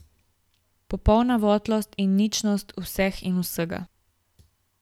Popolna votlost in ničnost vseh in vsega.